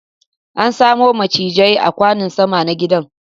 An same macizai a kwanon sama na gidan